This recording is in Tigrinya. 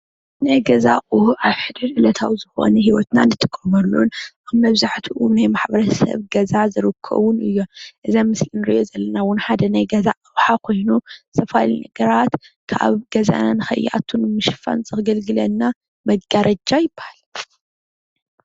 ናይ ገዛ አቁሑ አብ ሕድሕድ ዕለታዊ ዝኮኑ ሂወትና ንጥቀመሉን አብዛሕትኡ ናይ ማሕበረሰብ ገዛ ዝርከቡን እዮም እዚ አብ ምስሊ እንሪኦ ዘለና እውን ሓደ ናይ ገዛ አቅሓ ኮይኑ ዝተፈላለዩ ነገራት ካብ ገዛና ንከይአቱ ንምሽፉን ዘገልግለና መጋረጃ ይበሃል።